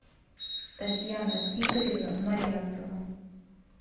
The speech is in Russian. татьяна игоревна марьясова